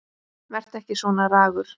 Vertu ekki svona ragur.